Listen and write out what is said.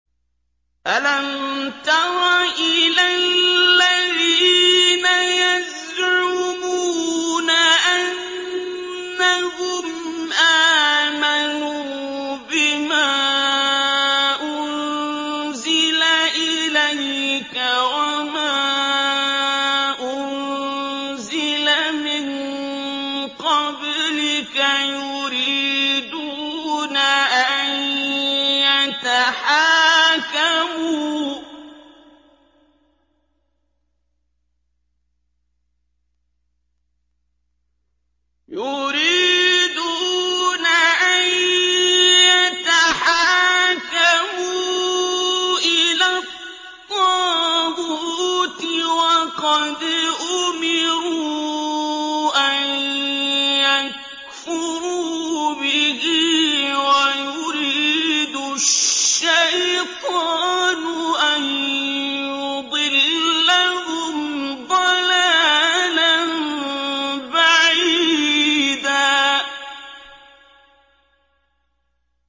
أَلَمْ تَرَ إِلَى الَّذِينَ يَزْعُمُونَ أَنَّهُمْ آمَنُوا بِمَا أُنزِلَ إِلَيْكَ وَمَا أُنزِلَ مِن قَبْلِكَ يُرِيدُونَ أَن يَتَحَاكَمُوا إِلَى الطَّاغُوتِ وَقَدْ أُمِرُوا أَن يَكْفُرُوا بِهِ وَيُرِيدُ الشَّيْطَانُ أَن يُضِلَّهُمْ ضَلَالًا بَعِيدًا